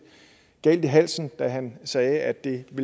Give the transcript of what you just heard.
galt i halsen da han sagde at det